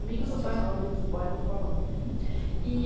Associação Amigos do Bairro do Palanque.